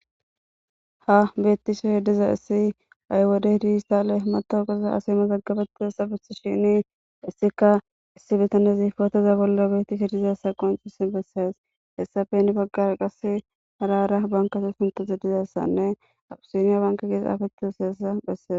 Ha betishe dizaysi ha'i wode dijitale mazagabtidaysa besishene hesika issi bitatezi potoza bolla betishe dizaysa qoncisi beses hesappe heni bagara qase hara hara banketa pultoti dizaysane abisina banke gii xafeti ittidaysa beses